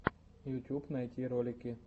ютьюб найти ролики